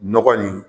Nɔgɔ nin